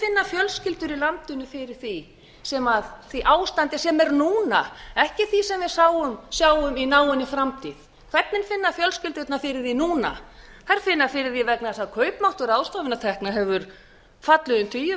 hvernig finna fjölskyldur í landinu fyrir því ástandi sem er núna eftir því sem við sjáum í náinni framtíð hvernig finna fjölskyldurnar fyrir því núna þær finna fyrir því vegna þess að kaupmáttur ráðstöfunartekna hefur fallið um tugi